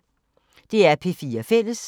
DR P4 Fælles